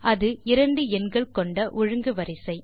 அது இரண்டு எண்கள் கொண்ட ஒழுங்கு வரிசை